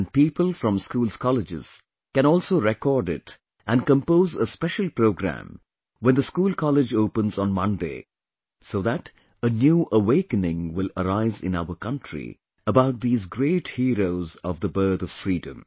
And people from schoolscolleges can also record it and compose a special program when the schoolcollege opens on Monday, so that a new awakening will arise in our country about these great heroes of the birth of Freedom